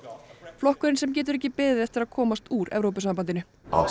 flokkurinn sem getur ekki beðið eftir að komast úr Evrópusambandinu